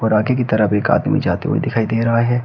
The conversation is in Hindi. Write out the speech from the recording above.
की तरफ एक आदमी जाते हुए दिखाई दे रहा है।